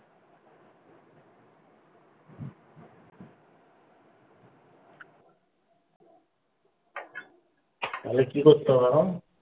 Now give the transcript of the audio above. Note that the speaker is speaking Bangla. তাহলে কি করতে হবে এখন?